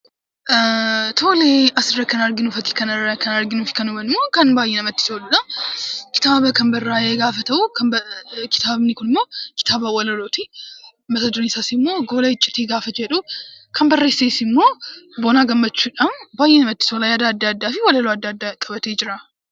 Tole. Asirra kan arginu, fakkii kanarra kan arginu kunimmoo kan baay'ee namatti toludha. Kitaaba kan barraa'ee gaafa ta'u, kitaabni kunimmoo kitaaba walalooti. Mata dureen isaas immoo 'Gola Icciitii' yeroo jedhu, kan barreesses immoo Boonaa Gammachuudha. Baay'ee namatti tola, yaada adda addaa fi walaloo adda addaa qabatee jira.